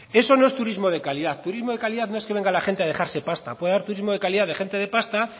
eso no es turismo de calidad turismo de calidad no es que venga la gente a dejarse pasta puede haber turismo de calidad de gente de pasta